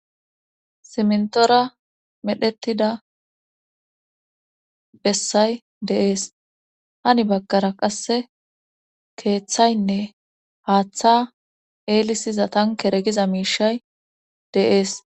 Simntora medhdhetida bessay de'ees hani baggara qasse keeththaynne haaththa eelisiza tankeregiza miishay de'ees